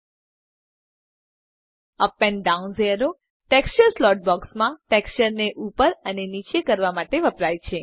UP and down arrows texture slot બોક્સમાં ટેક્સચરને ઉપર અને નીચે કરવા માટે વપરાય છે